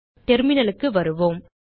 terminalக்கு வருவோம்